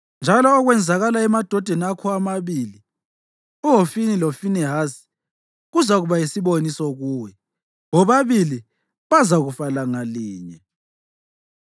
‘Njalo okwenzakala emadodaneni akho amabili, uHofini loFinehasi, kuzakuba yisiboniso kuwe, bobabili bazakufa langa linye.